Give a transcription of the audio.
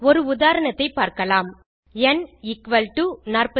ஒரு உதாரணத்தை பார்க்கலாம்160 ந் எக்குவல் டோ 42